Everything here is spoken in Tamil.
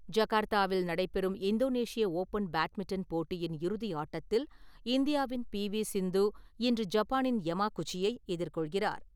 ஜகார்த்தாவில் நடைபெறும் இந்தோனேஷிய ஓப்பன் பேட்மிண்டன் போட்டியின் இறுதி ஆட்டத்தில், இந்தியாவின் பி வி சிந்து இன்று ஜப்பானின் யமா குச்சியை எதிர்கொள்கிறார்.